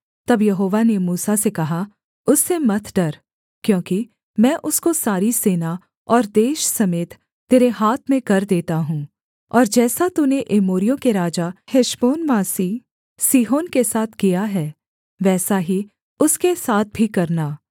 तब यहोवा ने मूसा से कहा उससे मत डर क्योंकि मैं उसको सारी सेना और देश समेत तेरे हाथ में कर देता हूँ और जैसा तूने एमोरियों के राजा हेशबोनवासी सीहोन के साथ किया है वैसा ही उसके साथ भी करना